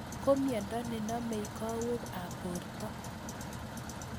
ko miondo ne namei kowoik ab porto